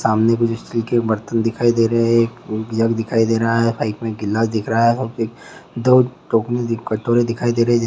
सामने कुछ स्टील के बर्तन दिखाई दे रहे हैं एक जग दिखाई दे रहा है ग्लास दिखाई दे रहा है कटोरे दिखाई दे रहे हैं।